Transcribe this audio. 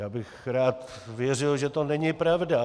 Já bych rád věřil, že to není pravda.